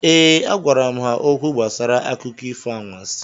Ee, agwara m ha okwu gbasara akụkọ ifo anwansị